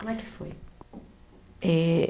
Como é que foi? Eh